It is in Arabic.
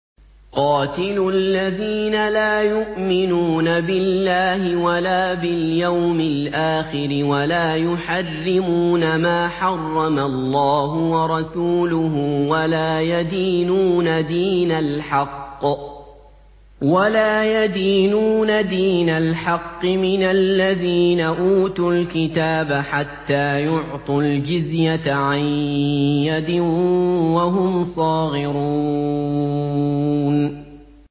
قَاتِلُوا الَّذِينَ لَا يُؤْمِنُونَ بِاللَّهِ وَلَا بِالْيَوْمِ الْآخِرِ وَلَا يُحَرِّمُونَ مَا حَرَّمَ اللَّهُ وَرَسُولُهُ وَلَا يَدِينُونَ دِينَ الْحَقِّ مِنَ الَّذِينَ أُوتُوا الْكِتَابَ حَتَّىٰ يُعْطُوا الْجِزْيَةَ عَن يَدٍ وَهُمْ صَاغِرُونَ